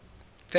ferry